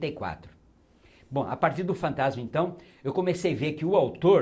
e quatro. Bom, a partir do Fantasma então, eu comecei ver que o autor